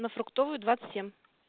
на фруктовая двадцать семь